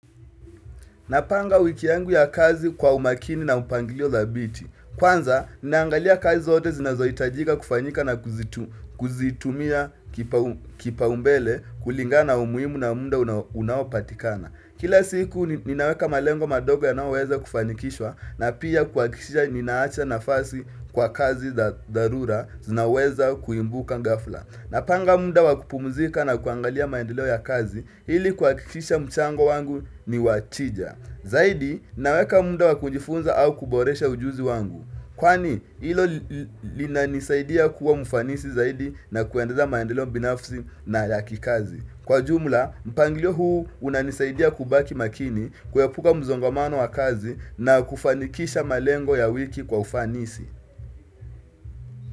Napanga wiki yangu ya kazi kwa umakini na upangilio dhabiti. Kwanza, ninaangalia kazi zote zinazohitajika kufanyika na kuzitumia kipao mbele kulingana umuhimu na muda unaopatikana. Kila siku ninaweka malengo madogo yanayoweza kufanikishwa na pia kuhakikishisha ninaacha nafasi kwa kazi za dharura zinaweza kuimbuka ghafla. Napanga muda wakupumzika na kuangalia maendeleo ya kazi ili kuhakikisha mchango wangu niwachija. Zaidi, naweka muda wakujifunza au kuboresha ujuzi wangu. Kwani, hilo linanisaidia kuwa mfanisi zaidi na kuendeza maendeleo binafsi na ya kikazi. Kwa jumla, mpangilio huu unanisaidia kubaki makini kuepuka mzongamano wa kazi na kufanikisha malengo ya wiki kwa ufanisi.